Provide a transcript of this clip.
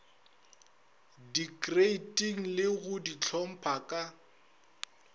dikreiting le go dihlopha ka